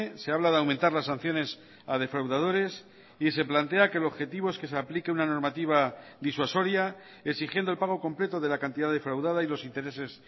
se habla de aumentar las sanciones a defraudadores y se plantea que el objetivo es que se aplique una normativa disuasoria exigiendo el pago completo de la cantidad defraudada y los intereses